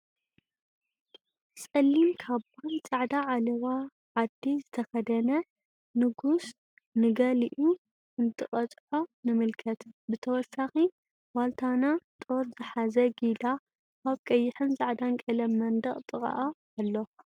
ፀሊም ካባን ፃዕዳ ዓለባ ዓዲ ዝተኸደነ ንጉስ ንጊልኡ እንትቀፅዖ ንምልከት፡፡ ብተወሳኺ ዋልታና ጦር ዝሓዘ ጊላ ኣብ ቀይሕን ፃዕዳን ቀለም መንደቅ ጥቃእ ኣሎ፡፡